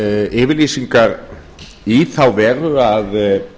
yfirlýsingar í þá veru að